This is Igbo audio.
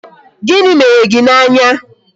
Gịnị mere gị n' anya?